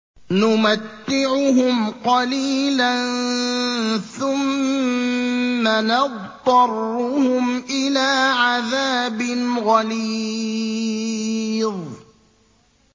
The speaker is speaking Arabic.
نُمَتِّعُهُمْ قَلِيلًا ثُمَّ نَضْطَرُّهُمْ إِلَىٰ عَذَابٍ غَلِيظٍ